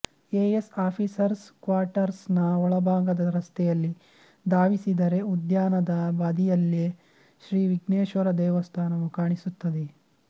A S officers quarters ನ ಒಳಭಾಗದ ರಸ್ತೆಯಲ್ಲಿ ಧಾವಿಸಿದರೆ ಉದ್ಯಾನದ ಬದಿಯಲ್ಲೇ ಶ್ರೀ ವಿಘ್ನೇಶ್ವರ ದೇವಸ್ಥಾನವು ಕಾಣಿಸುತ್ತದೆ